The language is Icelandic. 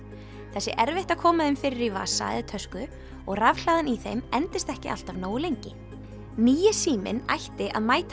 það sé erfitt að koma þeim fyrir í vasa eða tösku og rafhlaðan í þeim endist ekki alltaf nógu lengi nýi síminn ætti að mæta